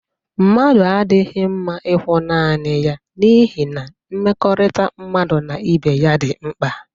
Mmadu adighi mma ikwu naani ya n'ihi na mmekorita mmadu na ibe ya di rnkpa.